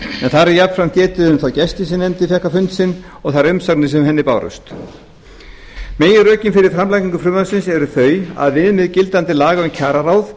þar er jafnframt getið um þá gesti sem nefndin fékk á fund sinn og þær umsagnir sem henni bárust meginrökin fyrir framlagningu frumvarpsins eru þau að viðmið gildandi laga